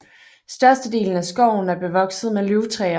Størstedelen af skoven er bevokset med løvtræer